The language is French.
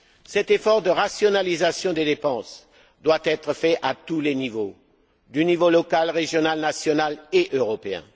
Cet effort de rationalisation des dépenses doit être fait à tous les niveaux local, régional, national et européen.